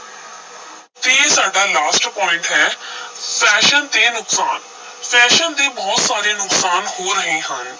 ਫਿਰ ਸਾਡਾ last point ਹੈ fashion ਦੇ ਨੁਕਸਾਨ fashion ਦੇ ਬਹੁਤ ਸਾਰੇ ਨੁਕਸਾਨ ਹੋ ਰਹੇ ਹਨ।